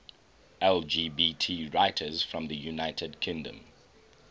lgbt writers from the united kingdom